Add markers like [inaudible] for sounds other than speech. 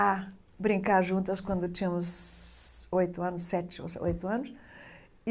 a brincar juntas quando tínhamos oito anos sete [unintelligible] oito anos.